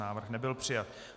Návrh nebyl přijat.